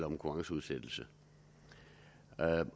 konkurrenceudsættelse